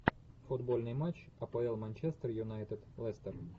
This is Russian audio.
футбольный матч апл манчестер юнайтед лестер